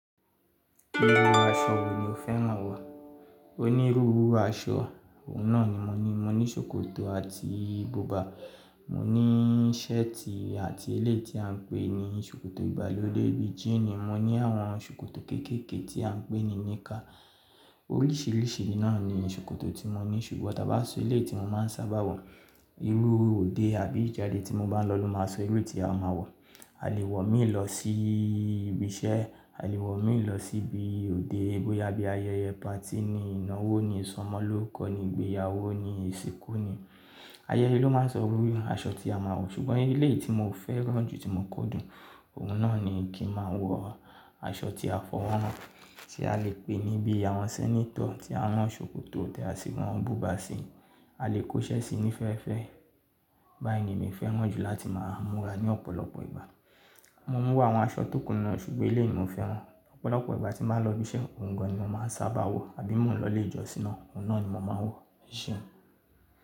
Íru aṣọ wo ni o fẹ́ràn wọ̀? Onírúurú aṣọ, òun náà ni mo ní. Mo ní sòkòtò àti buba, mo ní ṣẹ́ẹ̀tì àti elé tí à ń pè ní sòkòtò ìgbàlódé bí i jíínì, mo ní àwọn sòkòtò kéékèèké tí à ń pè ní níkà. Oríṣìíríṣìí náà ni sòkòtò tí mo ní ṣùgbọ́n tàbí aṣọ elé tí mo máa ń sábà wọ̀, irú òde àbí ìjáde tí mo bá ń lọ ló máa sọ irú tí a máa wọ̀. A lè wọ̀ mí lọ sí ibi iṣẹ́, a lè wọ̀ mí lọ sí ibi òde bóyá bí ayẹyẹ patí ni, ìnáwó ni, ìsọmọlórúkọ ni, ìgbéyàwó ni, ìsìnkú ni. Ayẹyẹ ló máa ń sọ irú aṣọ tí a máa wọ̀ ṣùgbọ́n elé ni mo fẹ́ràn jù tí mo kọ dùn, òun náà ni kí n máa wọ aṣọ tí a fọwọ́ ràn tí a lè pè ní bí àwọn sẹ́nétọ̀ tí à ń rán sòkòtò tẹ́ à sì wọn bùba sí i, a lè kóṣẹ́ síi nífẹ́fẹ́. Bá èmi mi fẹ́ràn jù láti máa múra ní ọ̀pọ̀lọpọ̀ ìgbà. Mo mú wá àwọn aṣọ tókù náà ṣùgbọ́n elé ni mo fẹ́ran. Ọ̀pọ̀lọpọ̀ ìgbà tí máa ń lọ ibi iṣẹ́, òun gan an ni mo máa ń sábà wọ̀ àbí mo lọ ilé ìjọsìn náà, òun náà ni mo máa ń wọ̀, ese.